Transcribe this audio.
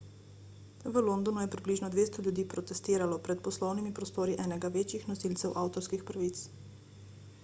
v londonu je približno 200 ljudi protestiralo pred poslovnimi prostori enega večjih nosilcev avtorskih pravic